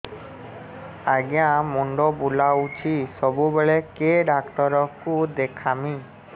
ଆଜ୍ଞା ମୁଣ୍ଡ ବୁଲାଉଛି ସବୁବେଳେ କେ ଡାକ୍ତର କୁ ଦେଖାମି